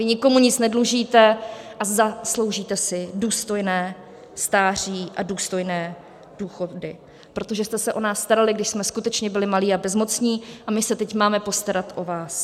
Vy nikomu nic nedlužíte a zasloužíte si důstojné stáří a důstojné důchody, protože jste se o nás starali, když jsme skutečně byli malí a bezmocní, a my se teď máme postarat o vás.